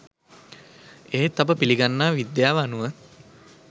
එහෙත් අප පිළිගන්නා විද්‍යාව අනුව